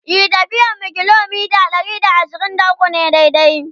e tafiyar mu kilometa Ɗari da ashirin da ukwu ne daidai